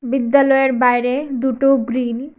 বিদ্যালয়ের বাইরে দুটো গ্রিল ।